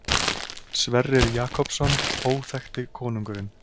Sverrir Jakobsson, Óþekkti konungurinn.